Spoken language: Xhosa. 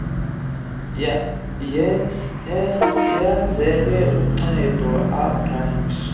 yenzelwe ukunceda abarhafi